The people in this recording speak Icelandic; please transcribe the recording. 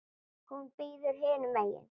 Hún bíður hinum megin.